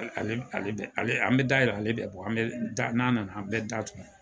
Ale ale bɛ ale an bɛ da yɛlɛ ale bɛ bɔ an bɛ n'a nana an bɛ da tugun.